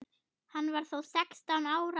Hann var þá sextán ára.